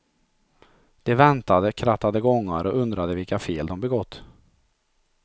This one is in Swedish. De väntade, krattade gångar och undrade vilka fel de begått.